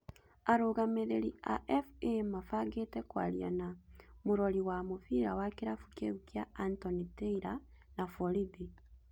Arũgamĩrĩri a FA mabangĩte kwaria na mũrori wa mũbira wa kĩrabu kĩu kĩa Anthony taylor na borithi